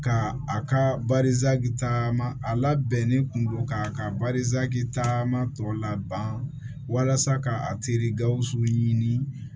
Ka a ka taama a labɛnnen kun don k'a ka taama tɔ laban walasa ka a teri gawusu ɲini